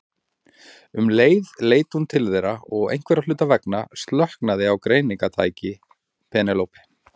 Um leið leit hún til þeirra og einhverra hluta vegna slöknaði á greiningartæki Penélope.